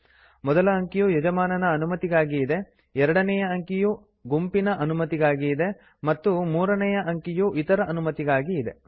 ಮೊದಲ ಅಂಕಿಯು ಯಜಮಾನನ ಅನುಮತಿಗಾಗಿ ಇದೆ ಎರಡನೆಯ ಅಂಕಿಯು ಗುಂಪಿನ ಅನುಮತಿಗಾಗಿ ಇದೆ ಮತ್ತು ಮೂರನೇಯ ಅಂಕಿಯು ಇತರ ಅನುಮತಿಗಾಗಿ ಇದೆ